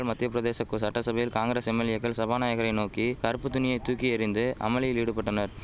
மத்தியப்பிரதேச கு சட்டசபையில் காங்கிரஸ் எம்எல்ஏக்கள் சபாநாயகரை நோக்கி கறுப்பு துணியை தூக்கி எறிந்து அமளியில் ஈடுபட்டனர்